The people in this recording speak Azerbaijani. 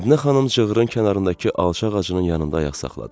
Mədinə xanım cığırın kənarındakı alçaq ağacının yanında ayaq saxladı.